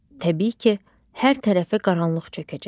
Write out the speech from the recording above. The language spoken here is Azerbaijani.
Təbii ki, hər tərəfə qaranlıq çökəcək.